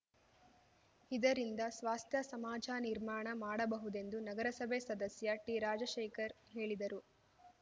ಇದರಿಂದ ಸ್ವಾಸ್ಥ್ಯ ಸಮಾಜ ನಿರ್ಮಾಣ ಮಾಡಬಹುದೆಂದು ನಗರಸಭೆ ಸದಸ್ಯ ಟಿರಾಜಶೇಖರ್‌ ಹೇಳಿದರು